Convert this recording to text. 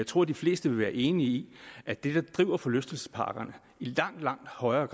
tror de fleste vil være enige i at det der driver forlystelsesparkerne i langt langt højere er